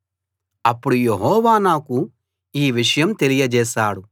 అప్పుడు యెహోవా నాకు ఈ విషయం తెలియచేశాడు